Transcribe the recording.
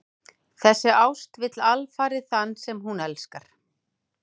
Þessi ást vill alfarið þann sem hún elskar.